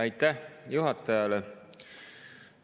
Aitäh juhatajale!